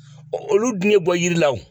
olu dun bɔ yiri la o.